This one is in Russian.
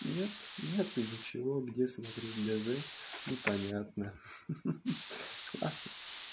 нет нету ничего где смотреть д з непонятно ха ха классно